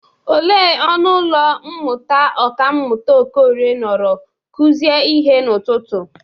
Ele ọnụ ụlọ mmụta ọkammụta Okorie nọrọ kụzie ihe n'ụtụtụ?